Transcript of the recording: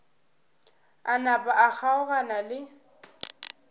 a napa a kgaogana le